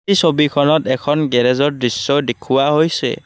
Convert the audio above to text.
এই ছবিখনত এখন গেৰেজৰ দৃশ্য দেখুওৱা হৈছে।